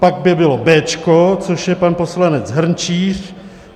Pak by bylo béčko, což je pan poslanec Hrnčíř.